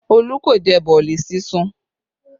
Olú kò jẹ boolì sísun